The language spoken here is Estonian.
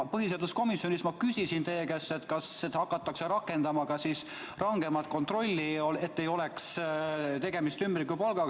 Põhiseaduskomisjonis küsisin ma teie käest, kas hakatakse rakendama ka rangemat kontrolli, et ei oleks tegemist ümbrikupalgaga.